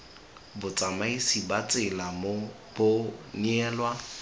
botsamaisi ba tsela bo neelwa